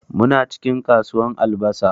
Muna cikin kasuwan albasa.